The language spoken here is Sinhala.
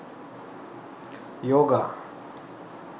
yoga